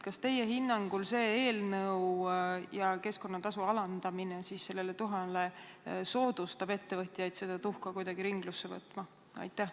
Kas teie hinnangul see eelnõu ja keskkonnatasu alandamine tuha puhul soodustavad seda, et ettevõtjad seda tuhka kuidagi ringlusse hakkavad võtma?